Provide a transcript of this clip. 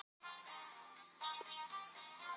Það sem ég gekk inn í var saga.